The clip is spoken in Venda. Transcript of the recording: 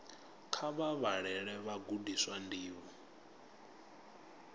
kha vha vhalele vhagudiswa ndivho